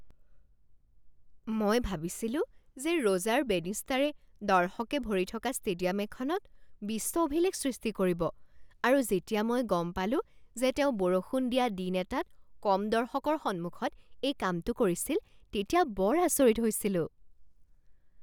মই ভাবিছিলো যে ৰ'জাৰ বেনিষ্টাৰে দৰ্শকেৰে ভৰি থকা ষ্টেডিয়াম এখনত বিশ্ব অভিলেখ সৃষ্টি কৰিব আৰু যেতিয়া মই গম পালোঁ যে তেওঁ বৰষুণ দিয়া দিন এটাত কম দৰ্শকৰ সন্মুখত এই কামটো কৰিছিল তেতিয়া বৰ আচৰিত হৈছিলোঁ।